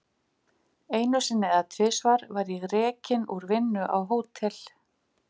Einu sinni eða tvisvar var ég rekinn úr vinnu á Hótel